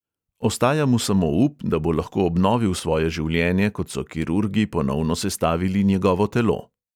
Ostaja mu samo up, da bo lahko obnovil svoje življenje, kot so kirurgi ponovno sestavili njegovo telo.